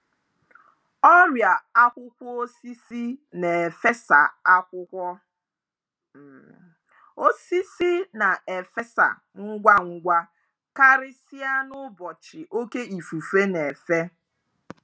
Ọrịa akwụkwọ osisi na-efesa akwụkwọ osisi na-efesa ngwa ngwa karịsịa n'ụbọchị oke ifufe na-efe.